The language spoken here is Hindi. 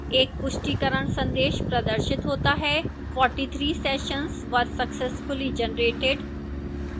एक पुष्टिकरण संदेश प्रदर्शित होता है 43 sessions were successfully generated